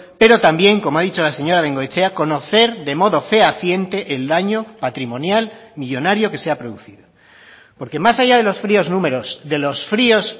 pero también como ha dicho la señora bengoechea conocer de modo fehaciente el daño patrimonial millónario que se ha producido porque más allá de los fríos números de los fríos